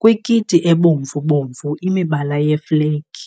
kwikiti ebomvu-bomvu, imibala yeflegi .